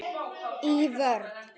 Í vörn.